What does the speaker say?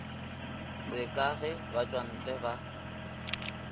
se ka ge batšwantle ba